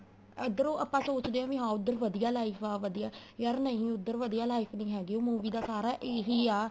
ਇੱਧਰੋ ਆਪਾਂ ਸੋਚਦੇ ਆ ਵੀ ਹਾਂ ਉੱਧਰ ਵਧੀਆ life ਆ ਵਧੀਆ ਯਾਰ ਨਹੀਂ ਉੱਧਰ ਵਧੀਆ life ਨਹੀਂ ਹੈਗੀ ਉਹ movie ਦਾ ਸਾਰਾ ਇਹ ਈ ਆ